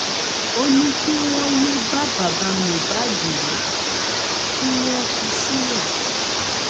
ó ní kí wọn yéé bá bàbá mohbad wí kí wọn fi í sílẹ